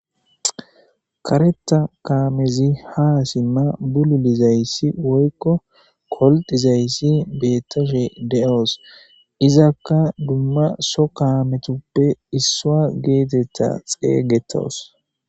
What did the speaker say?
Kareta kaamezi haasimma bululizayssi woykko koldizayssi beettashe de7oos izakka dumma so kaametuppe issua geetetta xeeygetoos